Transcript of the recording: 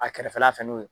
A kɛrɛfɛla fɛ n'o ye